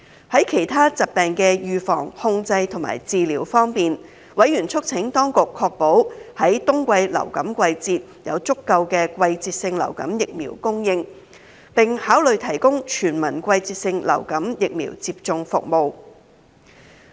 在其他疾病的預防、控制及治療方面，委員促請當局確保在冬季流感季節有充足季節性流感疫苗供應，並考慮提供全民季節性流感疫苗接種服務。